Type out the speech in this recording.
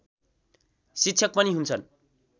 शिक्षक पनि हुन्छन्